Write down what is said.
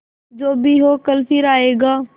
जो भी हो कल फिर आएगा